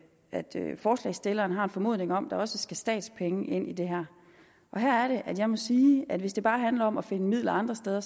at forslagsstilleren har en formodning om at der også skal statspenge ind i det her her er det jeg må sige at hvis det bare handler om at finde midler andre steder